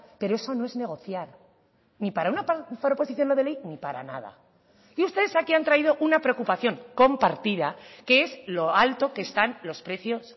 pero eso no es negociar ni para una proposición no de ley ni para nada y ustedes aquí han traído una preocupación compartida que es lo alto que están los precios